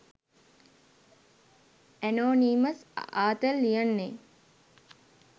anonymous ආතල් ලියන්නේ